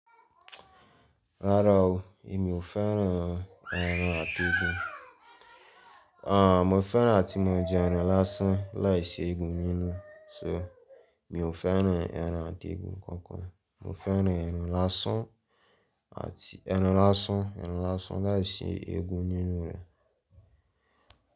Rárá o, èmi ò fẹ́ràn ẹran àti egun. Àh, mo fẹ́ràn a tí mo jẹ ẹran lásán laiṣi egun nínú. So, mi ò fẹ́ràn ẹran àti egun kankan. Mo fẹ́ràn ẹran lásán àti ẹran lásán, ẹran lásán láìsí egun nínú rẹ̀.